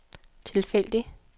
tilfældig